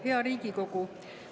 Hea Riigikogu!